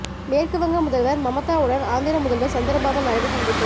மேற்கு வங்க முதல்வர் மமதாவுடன் ஆந்திர முதல்வர் சந்திரபாபு நாயுடு சந்திப்பு